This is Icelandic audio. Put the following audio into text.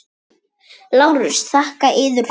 LÁRUS: Þakka yður fyrir.